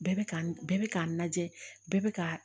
Bɛɛ bɛ ka bɛɛ bɛ k'a lajɛ bɛɛ bɛ ka